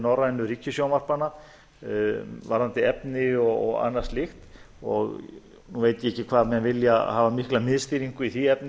norrænu ríkissjónvarpanna varðandi efni og anna slíkt nú veit ég ekki hvað menn vilja hafa mikla miðstýringu í því efni